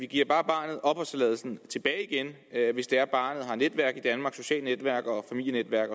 giver barnet opholdstilladelsen tilbage igen hvis det er at barnet har netværk i danmark socialt netværk og familienetværk